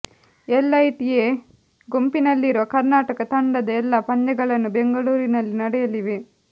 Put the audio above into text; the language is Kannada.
ಎಲೈಟ್ ಎ ಗುಂಪಿನಲ್ಲಿರುವ ಕರ್ನಾಟಕ ತಂಡದ ಎಲ್ಲ ಪಂದ್ಯಗಳನ್ನು ಬೆಂಗಳೂರಿನಲ್ಲಿ ನಡೆಯಲಿವೆ